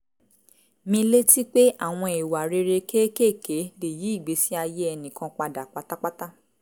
mi létí pé àwọn ìwà rere kéékèèké lè yí ìgbésí ayé ẹnì kan padà pátápátá